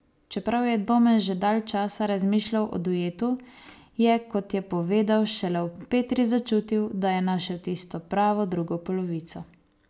Čeprav je Domen že dalj časa razmišljal o duetu, je, kot je povedal, šele ob Petri začutil, da je našel tisto pravo drugo polovico.